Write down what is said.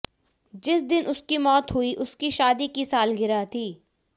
जिस दिन उसकी मौत हुई उसकी शादी की सालगिरह थी